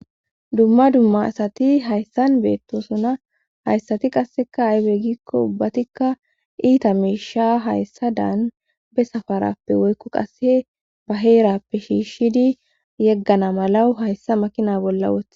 dumma dumma asati hayssan beettosuna hayssati qasseka aybe gikko ubbatikka iita miisha hayssa daanbe safarappe woykko qasse ba heerappe shiishshidi yeggana malawu hayssa makina bolla wothe